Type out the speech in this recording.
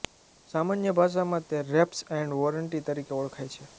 સામાન્ય ભાષામાં તે રેપ્સ એન્ડ વોરંટી તરીકે ઓળખાય છે